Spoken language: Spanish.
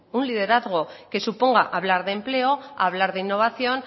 un liderazgo que suponga hablar de empleo hablar de innovación